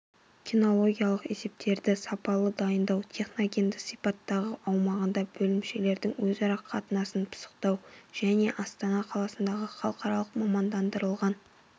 кинологиялық есептерді сапалы дайындау техногенді сипаттағы аумағында бөлімшелердің өзара қатынасын пысықтау және астана қаласында халықаралық мамандандырылған